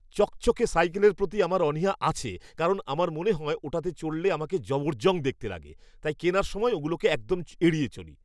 চকচকে সাইকেলের প্রতি আমার অনীহা আছে কারণ আমার মনে হয় ওটাতে চড়লে আমাকে জবরজং দেখতে লাগে, তাই কেনার সময় ওগুলোকে একদম এড়িয়ে চলি!